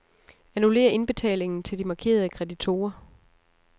Annullér indbetalingen til de markerede kreditorer.